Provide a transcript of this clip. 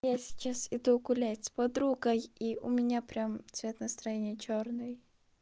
я сейчас иду гулять с подругой и у меня прям цвет настроения чёрный